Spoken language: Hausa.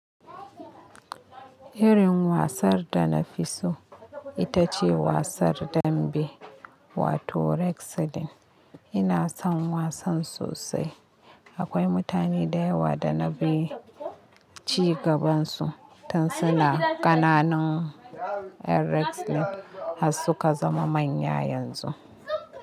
Irin wasan da na fi so ita ce wasan dambe wato wrestling. Ina son wasan sosai. Akwai mutane da yawa da na bi cigabansu tun suna ƙananan. Wrestling har suka zama manya yanzu.